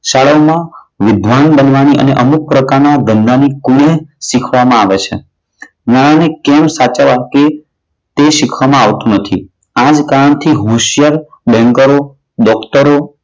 શાળામાં વિદ્વાન બનવાની અને અમુક પ્રકારના ધનવાન બનવાની શીખવામાં આવે છે. નાણાને કેમ સાચવવા તે શીખવામાં આવતું નથી. આ જ કારણથી હોશિયાર બેન્કરો, ડોક્ટરો,